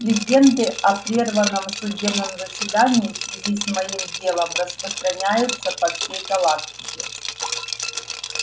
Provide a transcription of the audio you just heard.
легенды о прерванном судебном заседании в связи с моим делом распространяются по всей галактике